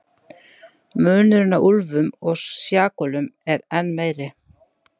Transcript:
Munurinn á úlfum og sjakölum er enn meiri.